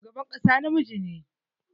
Shugaban ƙasa namiji ne.